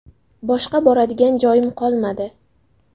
Boshqa boradigan joyim qolmadi.